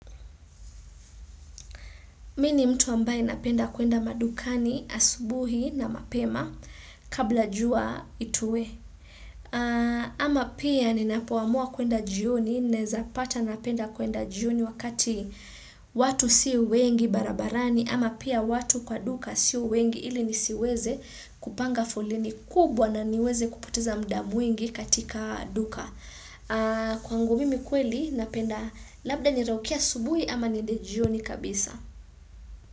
Mimi mtu ambaye napenda kuenda madukani asubuhi na mapema kabla jua itue. Ama pia ninapoamua kuenda jioni naeza pata napenda kuenda jioni wakati watu si wengi barabarani ama pia watu kwa duka sio wengi ili nisiweze kupanga foleni kubwa na niweze kupoteza muda mwingi katika duka. Kwangu mimi kweli napenda labda niraukie asubuhi ama niende jioni kabisa.